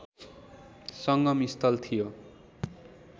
संगम स्थल थियो